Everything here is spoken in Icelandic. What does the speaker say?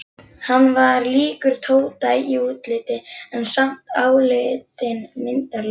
Hann var líkur Tóta í útliti, en samt álitinn myndarlegur.